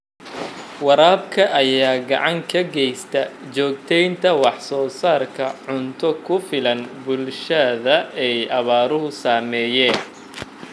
Waraabka ayaa gacan ka geysta joogteynta wax soo saarka cunto ku filan bulshada ay abaaruhu saameeyeen.